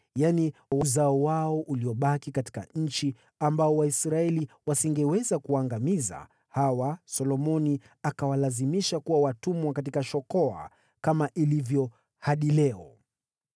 yaani, wazao wao waliobakia katika nchi, ambao Waisraeli hawangeweza kuwaangamiza kabisa: hawa Solomoni akawalazimisha kuwa watumwa katika shokoa, kama ilivyo hadi leo.